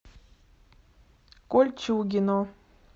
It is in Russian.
кольчугино